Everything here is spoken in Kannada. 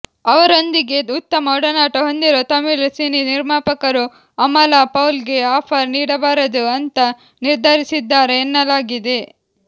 ಅವರೊಂದಿಗೆ ಉತ್ತಮ ಒಡನಾಟ ಹೊಂದಿರುವ ತಮಿಳು ಸಿನಿ ನಿರ್ಮಾಪಕರು ಅಮಲಾ ಪೌಲ್ ಗೆ ಆಫರ್ ನೀಡಬಾರದು ಅಂತ ನಿರ್ಧರಿಸಿದ್ದಾರೆ ಎನ್ನಲಾಗಿದೆ